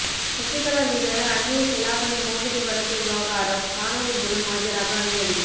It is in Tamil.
சசிகலா மீதான அன்னிய செலாவணி மோசடி வழக்கு விவகாரம் கானொலி மூலம் ஆஜராக அனுமதி